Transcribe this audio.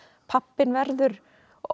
pabbinn verður